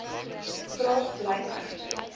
vraag bly egter